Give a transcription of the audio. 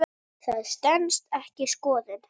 Það stenst ekki skoðun.